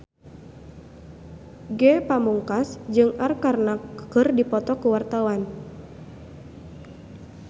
Ge Pamungkas jeung Arkarna keur dipoto ku wartawan